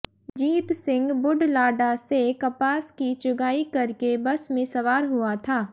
जीत सिह बुढलाडा से कपास की चुगाई करके बस में सवार हुआ था